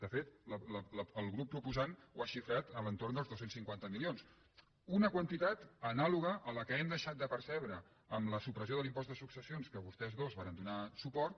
de fet el grup proposant ho ha xifrat a l’entorn dels dos cents i cinquanta milions una quantitat anàloga a la que hem deixat de percebre amb la supressió de l’impost de successions a què vostès dos varen donar suport